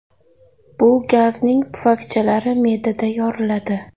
Bu gazning pufakchalari me’dada yoriladi.